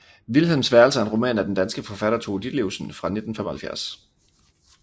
Vilhelms værelse er en roman af den danske forfatter Tove Ditlevsen fra 1975